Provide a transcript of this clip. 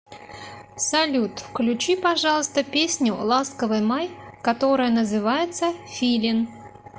салют включи пожалуйста песню ласковый май которая называется филин